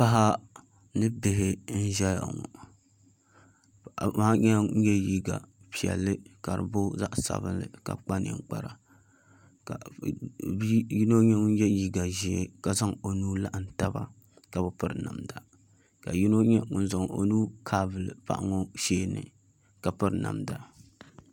Paɣa ni bihi n ʒɛya ŋɔ paɣa maa nyɛla ŋun yɛ liiga piɛlli ka di booi zaɣ sabinli ka kpa ninkpara ka yino nyɛ ŋun yɛ liiga ʒiɛ ka zaŋ o nuhi laɣam taba ka bi piri namda ka yino nyɛ ŋun zaŋ o nuhi kaavuli paɣa ŋɔ sheeni ka piri namda